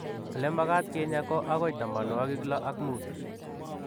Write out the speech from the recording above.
olemakat kinyaa ko agoi tamanwagik loo ak muut.